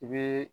I bɛ